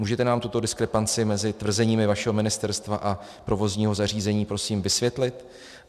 Můžete nám tuto diskrepanci mezi tvrzeními vašeho ministerstva a provozního zařízení prosím vysvětlit?